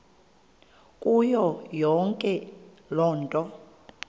kuyo yonke loo